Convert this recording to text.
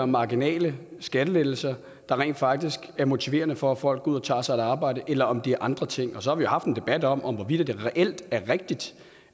marginale skattelettelser der rent faktisk er motiverende for at folk går ud og tager sig et arbejde eller om det er andre ting og så har vi haft en debat om om hvorvidt det reelt er rigtigt